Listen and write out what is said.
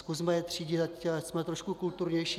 Zkusme jej třídit, ať jsme trošku kulturnější.